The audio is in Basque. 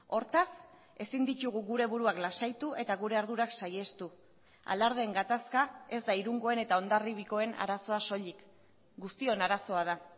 hortaz ezin ditugu gure buruak lasaitu eta gure ardurak saihestu alardeen gatazka ez da irungoen eta hondarribikoen arazoa soilik guztion arazoa da